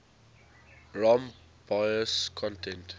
rom bios content